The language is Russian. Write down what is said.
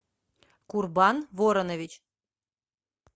курбан воронович